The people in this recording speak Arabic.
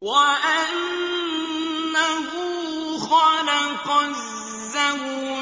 وَأَنَّهُ خَلَقَ الزَّوْجَيْنِ